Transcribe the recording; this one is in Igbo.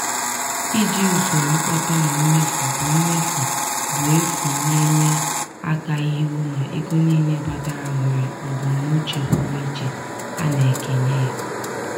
iji usoro mkpata na mmefu bụ mmefu bụ efu na-enye aka ịhụ na ego niile batara nwere mbunuche pụrụ iche a na-ekenye ya.